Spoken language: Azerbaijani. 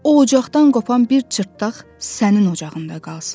o ocaqdan qopan bir çırptaq sənin ocağında qalsın.